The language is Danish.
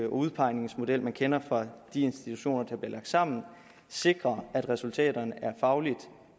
udpegningsmodel man kender fra de institutioner der bliver lagt sammen sikrer at resultaterne er fagligt